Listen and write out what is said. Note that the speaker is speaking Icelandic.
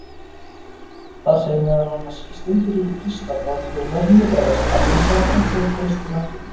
Þar segir meðal annars: Steindir eru kristallað frumefni eða efnasamband sem finnst í náttúrunni.